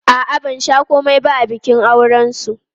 A'a, ban sha komai ba a bikin aurensu.